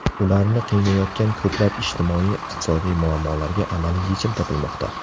Ularni qiynayotgan ko‘plab ijtimoiy-iqtisodiy muammolarga amaliy yechim topilmoqda.